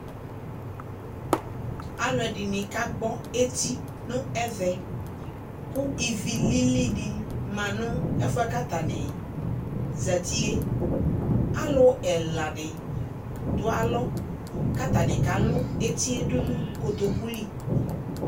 Alʋɛdɩnɩ kagbɔ eti nʋ ɛvɛ, kʋ ivi lilidɩ ma nʋ ɛfʋɛ katanɩ zatie Alʋ ɛladɩ dʋalɔ , k'atanɩ kalʋ etie nʋ kotoku li